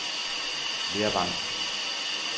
Lervang